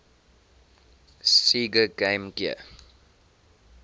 sega game gear